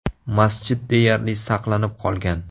Masjid deyarli saqlanib qolgan.